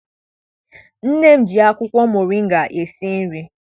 Nne m ji akwụkwọ moringa esi nri.